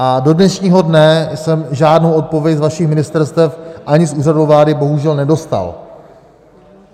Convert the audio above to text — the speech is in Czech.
A do dnešního dne jsem žádnou odpověď z vašich ministerstev ani z Úřadu vlády bohužel nedostal.